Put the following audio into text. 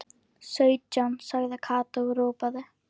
Sautján sagði Kata og ropaði.